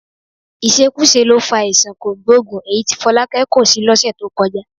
Ìṣekúṣe ló fa àìsàn kògbóògùn èyí tí Fọlákẹ́ kó sí lọ́sẹ̀ tó kọjá